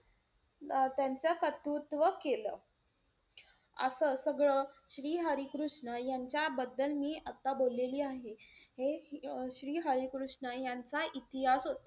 त्यांचं कर्तृत्व केलं. असं सगळं, श्री हरी कृष्ण यांच्याबद्दल मी आता बोललेली आहे. हे श्री हरी कृष्ण यांचा इतिहास होता.